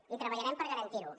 i treballarem per garantir lo